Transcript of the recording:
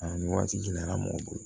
A ni waati gɛlɛyara mɔgɔ bolo